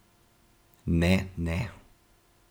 Ne, ne.